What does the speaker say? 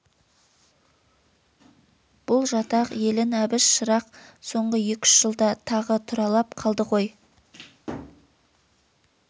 бұл жатақ елін әбіш шырақ соңғы екі-үш жылда тағы тұралап қалды ғой